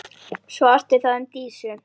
Svo orti það um Dísu.